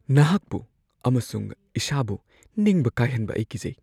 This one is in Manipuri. ꯅꯍꯥꯛꯄꯨ ꯑꯃꯁꯨꯡ ꯏꯁꯥꯕꯨ ꯅꯤꯡꯕ ꯀꯥꯏꯍꯟꯕ ꯑꯩ ꯀꯤꯖꯩ꯫